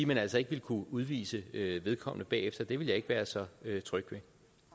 man altså ikke vil kunne udvise vedkommende bagefter det ville jeg ikke være så tryg